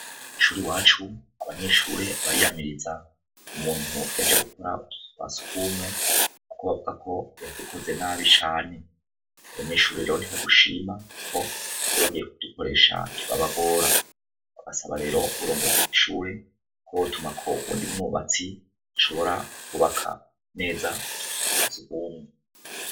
Ishuri iwacu abanyeshure bariyamiriza umuntu yaje gukora utuzu twa surwumwe kuko bavuga ko yadukoze nabi cane. Abanyeshure ntibadushima kuko iyo bagiye kudukoresha turabagora. Barasaba rero uburongozi bw' ishure ko botumako uwundi mwubatsi ashobora kwubaka neza utuzu twa surwumwe.